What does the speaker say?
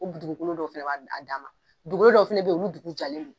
O dugukolo dɔ fana b'a dan ma dugukolo dɔ fana bɛ yen olu dugukolo jalen don